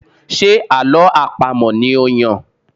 Ṣe àlọ́ àpamọ̀ ni ó Yàn?